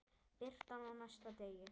Birtan á næsta degi.